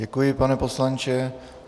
Děkuji, pane poslanče.